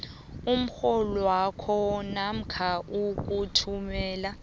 umrholwakho namkha ukuthumela